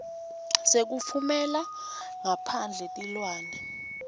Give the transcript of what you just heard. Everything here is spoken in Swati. sekutfumela ngaphandle tilwane